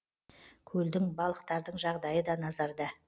көлдің балықтардың жағдайы да назарда